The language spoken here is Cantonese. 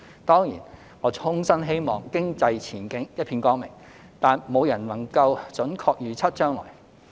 當然，我衷心希望經濟前景一片光明，但沒有人能準確預測將來。